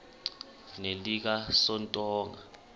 nelikasontonga